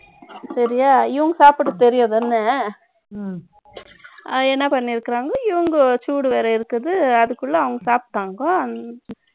சரியா இவங்க சாப்பிடறது தெரியாதுதானே ம்ம். என்ன பண்ணியிருக்காங்க இவங்க சூடு வேற இருக்குது. அதுக்குள்ள அவங்கசாப்பிட்டாங்கோ